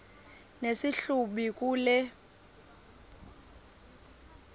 nesi hlubi kule